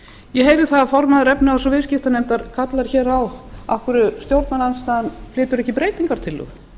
ég heyrði það að formaður efnahags og efnahagsnefndar kallar hér á af hverju stjórnarandstaðan flytur ekki breytingartillögu